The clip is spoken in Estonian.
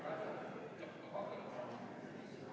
Kohaloleku kontroll, palun!